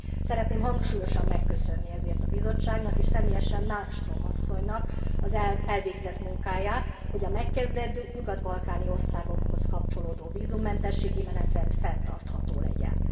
Szeretném hangsúlyosan megköszönni ezért a Bizottságnak és személyesen Malmström asszonynak az elvégzett munkáját, hogy a megkezdett, nyugat balkáni országokhoz kapcsolódó vízummentességi menetrend fenntartható legyen.